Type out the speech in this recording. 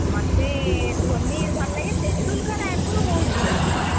ମତେ ଧୋନି ଭଲ ଲାଗେ, ତେନ୍ଦୁଲକର ଆଗରୁ ବହୁତ ଭଲ ଲାଗୁଥିଲା,